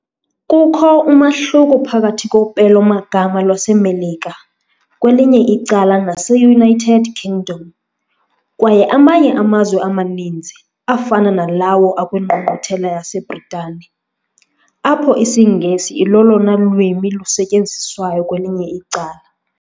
Kukho umahluko phakathi kopelo-magama lwaseMelika kwelinye icala naseUnited Kingdom kwaye amanye amazwe amaninzi, afana nalawo akwingqungquthela yaseBritane, apho isiNgesi ilolona lwimi lusetyenziswayo kwelinye icala.